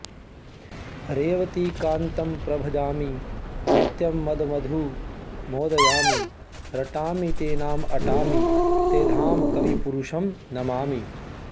रेवतीकान्तं प्रभजामि नित्यं मदमधु मोदयामि रटामि ते नाम अटामि ते धाम कविपुरुषं नमामि